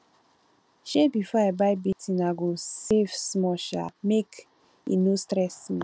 um before i buy big thing i go save small um small make e no stress me